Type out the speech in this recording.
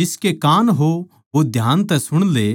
जिसके कान हो वो ध्यान तै सुण ले